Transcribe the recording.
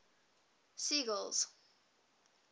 sigel's